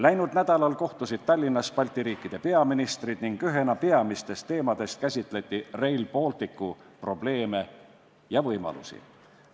Läinud nädalal kohtusid Tallinnas Balti riikide peaministrid ning ühena peamistest teemadest käsitleti Rail Balticu probleeme ja võimalusi.